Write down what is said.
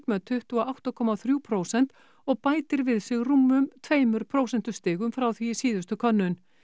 með tuttugu og átta komma þrjú prósent og bætir við sig rúmum tveimur prósentustigum frá því í síðustu könnun